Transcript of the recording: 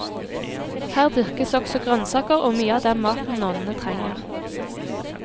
Her dyrkes også grønnsaker og mye av den maten nonnene trenger.